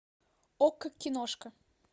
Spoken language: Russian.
окко киношка